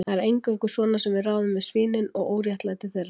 Það er eingöngu svona sem við ráðum við svínin og óréttlæti þeirra